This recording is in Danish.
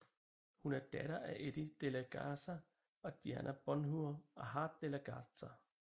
Hun er datter af Eddie De La Garza og Dianna Bonheur Hart De La Garza